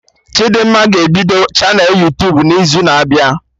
Chidimma ga-ebido chanelụ Yuutubun'izu na-abịa